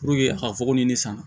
Puruke a ka fugo ni ne san